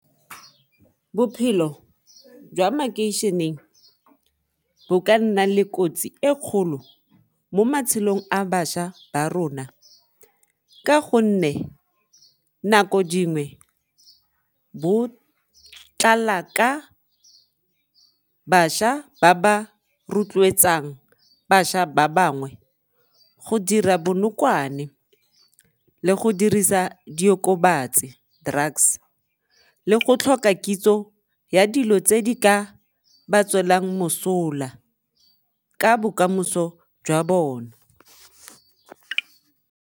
Bophelo jwa makeišeneng bo ka nna le kotsi e kgolo mo matshelong a bašwa ba rona ka gonne nako dingwe bo tlala ka bašwa ba ba rotloetsang bašwa ba bangwe go dira bonokwane le go dirisa diokobatsi, drugs le go tlhoka kitso ya dilo tse di ka ba tswelelang mosola ka bokamoso jwa bone.